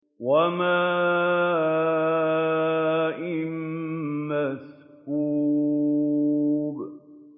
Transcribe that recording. وَمَاءٍ مَّسْكُوبٍ